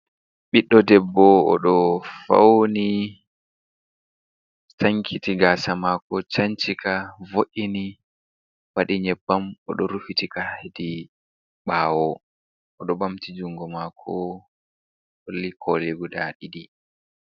Ɓiddo debbo oɗo fauni sankiti gasa mako cancika vo’’ini waɗi nyebbam oɗo rufitika hedi ɓawo oɗo ɓamti jungo mako holli koli guda ɗiɗi.